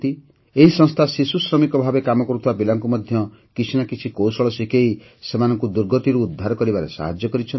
ଏହି ସଂସ୍ଥା ଶିଶୁ ଶ୍ରମିକ ଭାବେ କାମ କରୁଥିବା ପିଲାମାନଙ୍କୁ ମଧ୍ୟ କିଛି ନା କିଛି କୌଶଳ ଶିଖେଇ ସେମାନଙ୍କୁ ଦୁର୍ଗତିରୁ ଉଦ୍ଧାର କରିବାରେ ସାହାଯ୍ୟ କରିଛନ୍ତି